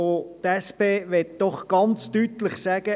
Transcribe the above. Die SP möchte doch ganz deutlich sagen: